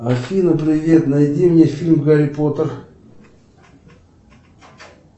афина привет найди мне фильм гарри поттер